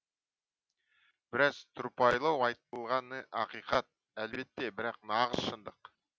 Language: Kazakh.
біраз тұрпайылау айтылғаны ақиқат әлбетте бірақ нағыз шындық